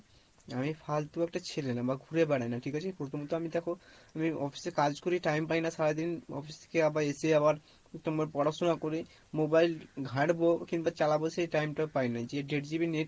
আমি ফালতু একটা ছেলে না, বা ঘুড়ে বেরাই না ঠিক আছে? প্রথম তো আমি দেখো আমি office এ কাজ করি time পাই না সারাদিন office থেকে আবার এসে আবার একটু আমার পড়াশোনা করি, mobile ঘাটবো কিংবা চালাবো সেই time টাও পাই না যে দেড় GB net